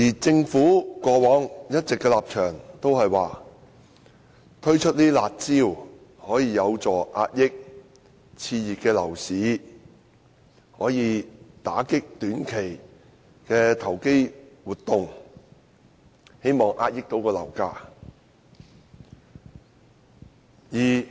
政府過往的立場一直是推出"辣招"遏抑熾熱的樓市，打擊短期投機活動，以期遏抑樓價。